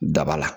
Daba la